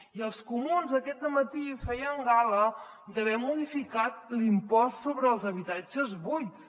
i els comuns aquest dematí feien gala d’haver modificat l’impost sobre els habitatges buits